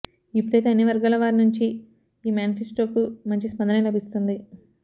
ఇప్పుడైతే అన్ని వర్గాల వారి నుంచి ఈ మ్యానిఫెస్టోకు మంచి స్పందనే లభిస్తుంది